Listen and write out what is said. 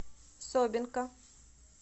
собинка